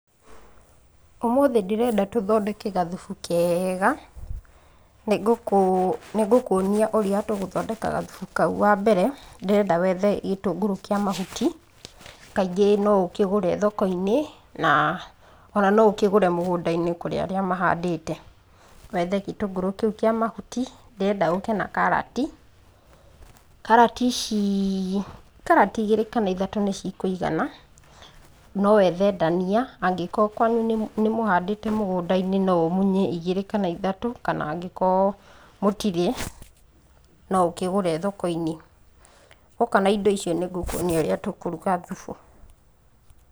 Ũmũthĩ ndĩrenda tũthondeke gathubu kega, nĩ ngũkuonia ũrĩa tũgũthondeka gathubu kau. Wa mbere, ndĩrenda wethe gĩtũngũrũ kĩa mahuti, kaingĩ no ũkĩgũre thoko-inĩ, na o na no ũkĩgũre mũgũnda-inĩ kũrĩ arĩa mahandĩte. Wethe gĩtũngũrũ kĩu kĩa mahuti, ndĩrenda ũke na karati, Karati ici , karati igĩrĩ kana ithatũ nĩ cikũigana, no wethe ndania, angĩkorwo kwanyu nĩ mũhandĩte mũgũnda-inĩ no ũmunye igĩrĩ kana ithatũ, kana angĩkorwo mũtirĩ, no ũkĩgũre thoko-inĩ, woka na indo icio nĩ ngũkuonia ũrĩa tũkũruga thubu.